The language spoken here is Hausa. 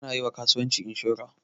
Ana yiwa kasuwanci inshura